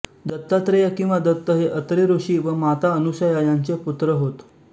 दत्तात्रेय किंवा दत्त हे अत्री ऋषी व माता अनसूया यांचे पुत्र होत